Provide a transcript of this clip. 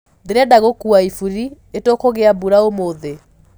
ndirenda gũkũwa iburi itukugia mbura ũmũthĩ